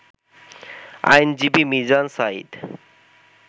আইনজীবী মিজান সাঈদ